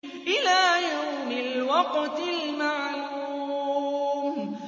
إِلَىٰ يَوْمِ الْوَقْتِ الْمَعْلُومِ